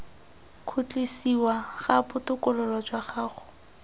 khutlisiwa ga botokololo jwa gago